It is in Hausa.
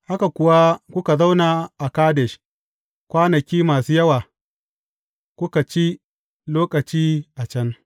Haka kuwa kuka zauna a Kadesh kwanaki masu yawa, kuka ci lokaci a can.